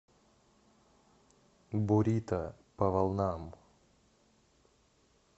бурито по волнам